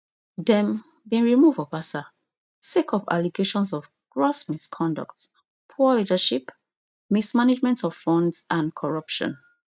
dem bin remove obasa sake of allegations of gross misconduct poor leadership mismanagement of funds and corruption